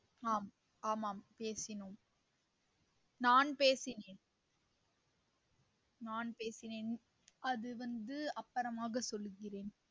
ஆம் ஆமாம் பேசினோம் நான் பேசினேன் நான் பேசினேன் அது வந்து அப்பறமாக சொல்லுகிறேன்